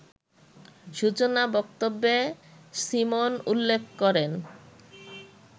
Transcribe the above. সূচনা বক্তব্যে সীমন উল্লেখ করেন